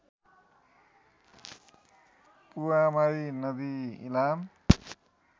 पुवामाई नदी इलाम